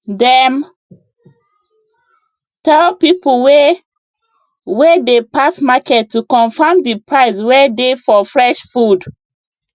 dem tell people wey wey dey pass market to confirm the price wey dey for fresh food